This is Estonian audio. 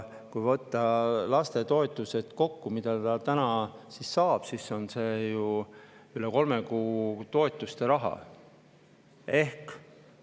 Kui võtta kokku lastetoetused, mida ta täna saab, siis on see ju üle kolme kuu toetuste.